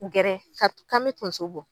Gɛrɛ kar kan bɛ tonso bɔ.